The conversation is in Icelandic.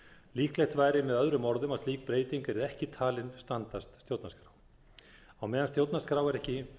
líklegt væri með öðrum orðum að slík breyting yrði ekki talin standast stjórnarskrá á meðan stjórnarskrá er ekki